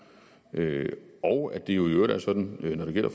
og at det jo i øvrigt er sådan når det gælder